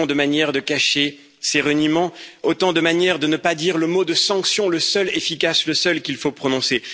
Autant de manières de cacher ses reniements, autant de manières de ne pas dire le mot sanction, le seul efficace, le seul qu'il faut prononcer.